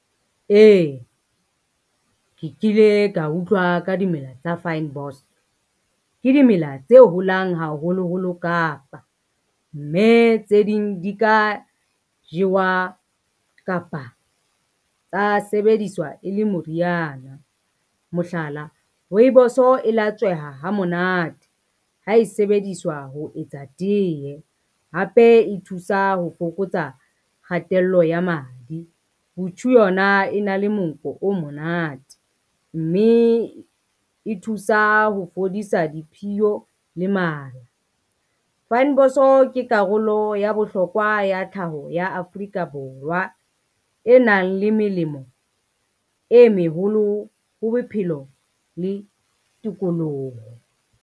Ee, ke kile ka utlwa ka dimela tsa fynbos, ke dimela tse holang haholoholo Kapa, mme tse ding di ka jewa kapa tsa sebediswa e le moriana. Mohlala, rooibos e latsweha ha monate ha e sebediswa ho etsa tee hape e thusa ho fokotsa kgatello ya madi. Yona e na le monko o monate, mme e thusa ho fodisa diphiyo le mala. Fynbos ke karolo ya bohlokwa ya tlhaho ya Afrika Borwa, e nang le melemo e meholo ho bophelo le tikoloho.